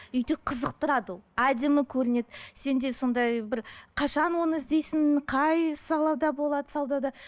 үйде қызықтырады ол әдемі көрінеді сенде сондай бір қашан оны іздейсің қай салада болады саудада